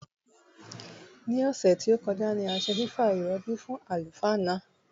Ní òsè tí ó kojá ni a se fìfa ìròbì fún àlùfáà náà